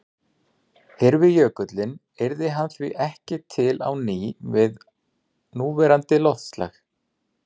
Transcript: Hyrfi jökullinn yrði hann því ekki til á ný við núverandi loftslag.